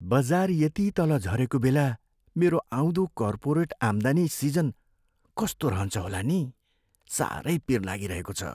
बजार यति तल झरेको बेला मेरो आउँदो कर्पोरेट आम्दानी सिजन कस्तो रहन्छ होला नि? साह्रै पिर लागिरहेको छ।